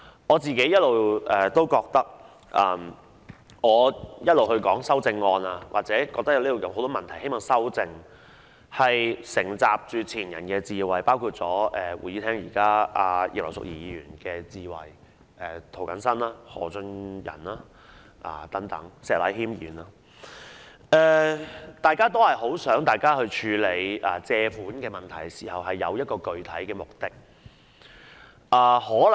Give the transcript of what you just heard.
我認為我一直以來就修訂議案的討論或指出眾多需要修正的問題，其實是承襲前人的智慧，包括會議廳內的葉劉淑儀議員，以至涂謹申議員、何俊仁議員和石禮謙議員，大家也希望在處理借款問題時有具體目的。